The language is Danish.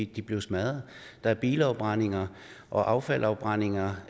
de blev smadret der er bilafbrændinger og affaldsafbrændinger